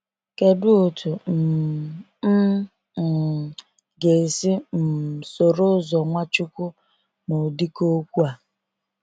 Kedụ otu um m um ga esi um soro ụzọ Nwachukwu na ụdịka okwu a?